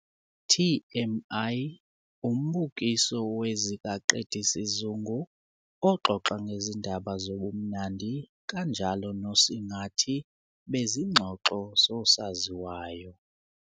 TMI - Umbukiso wezikaqedisizungu oxoxa ngezindaba zobumnandi kanjalo nosingathi bezingxoxo zosaziwayo.